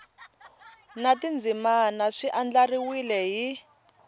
na tindzimana swi andlariwile hi